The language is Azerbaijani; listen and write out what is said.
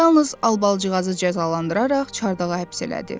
Yalnız Albalıcığı cəzalandıraraq çardağa həbs elədi.